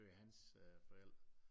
Øh hans øh forældre